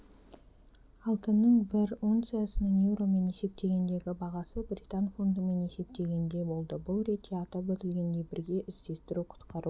алтынның бір унциясының еуромен есептегендегі бағасы британ фунтымен есептегенде болды бұл ретте атап өтілгендей бірге іздестіру-құтқару